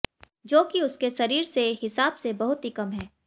जो कि उसके शरीर से हिसाब से बहुत ही कम है